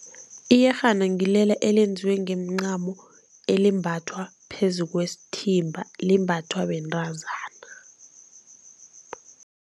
Iyerhana ngilela elenziwe ngemincamo, elimbathwa phezu kwesithimba, limbathwa bentazana.